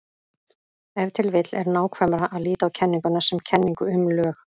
Ef til vill er nákvæmara að líta á kenninguna sem kenningu um lög.